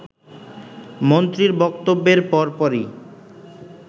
“ মন্ত্রীর বক্তব্যের পরপরই